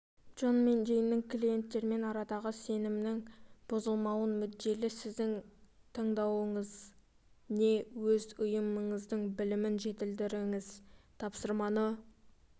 джон мен джейн клиенттермен арадағы сенімнің бұзылмауына мүдделі сіздің таңдауыңыз не өз ұйымыңыздың білімін жетілдіріңіз тапсырманы